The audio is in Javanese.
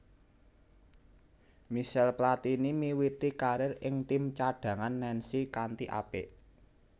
Michel Platini miwiti karir ing tim cadhangan Nancy kanthi apik